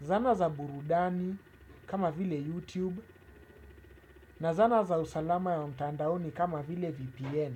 Zana za burudani kama vile YouTube na zana za usalama ya mtandaoni kama vile VPN.